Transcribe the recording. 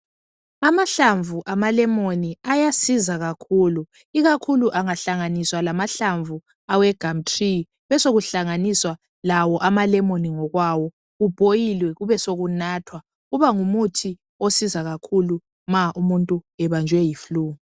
Amahlamvu amalemon ayasiza kakhulu ikakhulu angahlanganiswa lmahlamvu awegumtree besekuhlanganiswa lawo amalemon ngokwayo kubhoyilwe besekunathwa kubangumuthi osiza kakhulu ma umuntu ebanjwe yiflue.